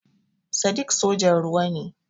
Sadiq sojan ruwa ne.